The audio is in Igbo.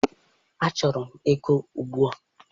Achọrọ m ego ugbua.